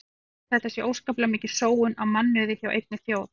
Ég tel að þetta sé óskaplega mikil sóun á mannauði hjá einni þjóð.